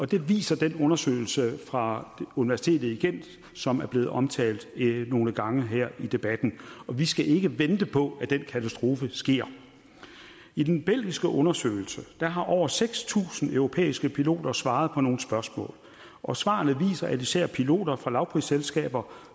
det viser den undersøgelse fra universitetet i gent som er blevet omtalt nogle gange her i debatten og vi skal ikke vente på at den katastrofe sker i den belgiske undersøgelse har over seks tusind europæiske piloter svaret på nogle spørgsmål og svarene viser at især piloter fra lavprisselskaber